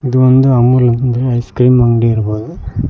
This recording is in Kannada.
ಇದು ಒಂದು ಅಮೂಲ್ ಐಸ್ ಕ್ರೀಂ ಅಂಗಡಿ ಇರ್ಬೋದು.